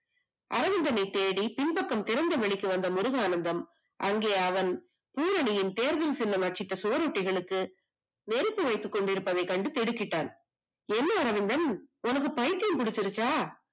அரவிந்தனை தேடி பின்பக்கத்திற்கு வந்த முருகானந்தம் அங்கே அவன் பூரணியின் தேர்தல் சின்னம் மற்றும் சுவரொட்டிகளுக்கு நெருப்பு வைத்துக் கொண்டிருப்பதை கண்டு திடுக்கிட்டான் என்ன அரவிந்தன் உனக்கு பைத்தியம் பிடிச்சிருச்சா